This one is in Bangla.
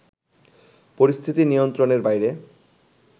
পরিস্থিতি নিয়ন্ত্রণের বাইরে